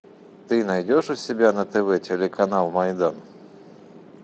ты найдешь у себя на тв телеканал майдан